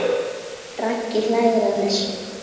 Raggi hlær að þessu.